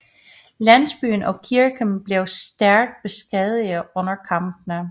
Landsbyen og kirken blev stærkt beskadigede under kampene